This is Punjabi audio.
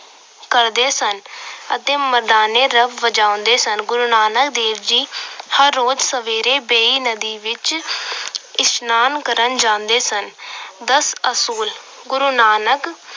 ਕਰਦੇ ਸਨ ਅਤੇ ਮਰਦਾਨੇ ਨਾਲ ਵਜਾਂਦੇ ਸਨ। ਗੁਰੂ ਨਾਨਕ ਦੇਵ ਜੀ ਹਰ ਰੋਜ ਸਵੇਰੇ ਵੇਈ ਨਦੀ ਵਿੱਚ ਇਸਨਾਨ ਕਰਨ ਜਾਂਦੇ ਸਨ। ਦਸ ਅਸੂਲ- ਗੁਰੂ ਨਾਨਕ